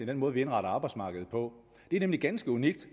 den måde vi indretter arbejdsmarkedet på det er nemlig ganske unikt